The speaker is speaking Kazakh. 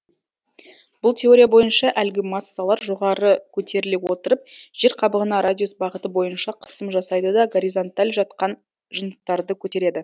бұл теория бойынша әлгі массалар жоғары көтеріле отырып жер қабығына радиус бағыты бойынша қысым жасайды да горизонталь жаткан жыныстарды көтереді